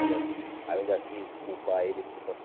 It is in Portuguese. Aí eu ainda quis culpar ele